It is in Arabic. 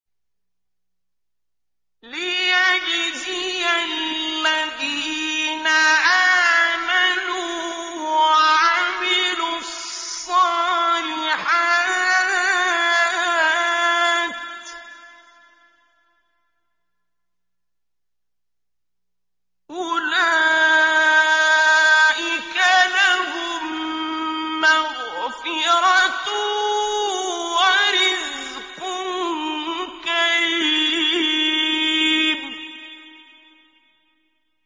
لِّيَجْزِيَ الَّذِينَ آمَنُوا وَعَمِلُوا الصَّالِحَاتِ ۚ أُولَٰئِكَ لَهُم مَّغْفِرَةٌ وَرِزْقٌ كَرِيمٌ